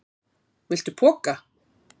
Viltu poka?